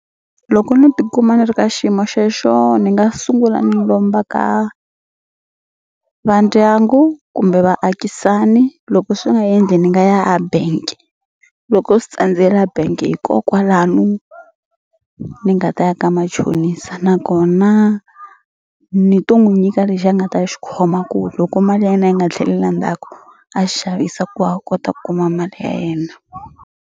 Loko no tikuma ni ri ka xiyimo xexo ni nga sungula ni lomba ka va ndyangu kumbe vaakisani loko swi nga endli ni nga ya a bank loko swi tsandzela bank hi ko kwalano ni nga ta ya ka machonisa nakona ni to n'wu nyika lexi a nga ta xi khoma ku loko mali ya yena yi nga tlheleli a ndzhaku a xi xavisa ku a kota ku kuma mali ya yena.